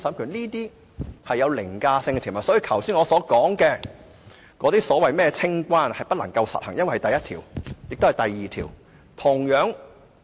這些都是具凌駕性的條文，所以我剛才說的清關安排其實不可以實行，因為有第一條和第二條的規定。